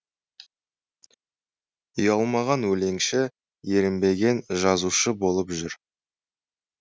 ұялмаған өлеңші ерінбеген жазушы болып жүр